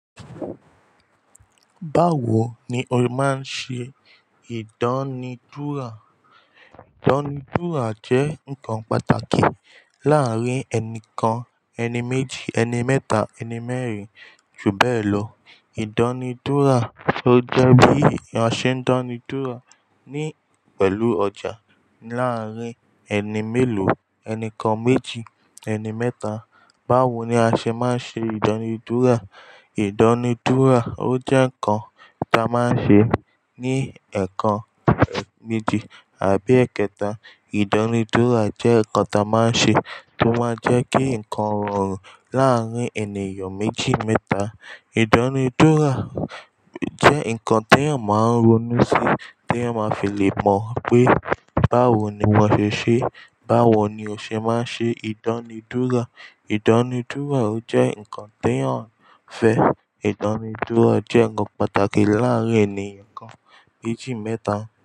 Báwo ni o máa ń ṣe ìdánidúrà? Ìdánidúrà jẹ́ nǹkan pàtàkì láàárín ẹni kan, ẹni méjì, ẹni mẹ́ta, ẹni mẹ́rin. Jùbe èlò, ìdánidúrà, ó jẹ́ bí ìyàn ṣe ń dánidúrà ní pẹ̀lú ọjà láàárín ẹni mélòó, ẹni kan, méjì, ẹni mẹ́ta. Báwo ni a ṣe máa ń ṣe ìdánidúrà? Ìdánidúrà ó jẹ́ nǹkan ta máa ń ṣe ní ẹ̀ẹ̀kan méjì àbí èkẹta. Ìdánidúrà jẹ́ nǹkan ta máa ń ṣe tó máa ń jẹ́ kí nǹkan rọrùn láàárín ènìyàn méjì, mẹ́ta. Ìdánidúrà jẹ́ nǹkan tí èèyàn máa ń ronú sí, tí èèyàn máa fi lè mọ pé báwo ni wọ́n ṣe ṣe, báwo ni o ṣe máa ń ṣe ìdánidúrà. Ìdánidúrà ó jẹ́ nǹkan tí èèyàn ń fẹ́. Ìdánidúrà jẹ́ nǹkan pàtàkì láàárín ènìyàn kan, méjì, mẹ́ta.